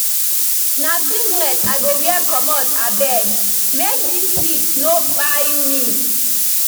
Na singlet I go wear comot abeg make dis heat no kpai me.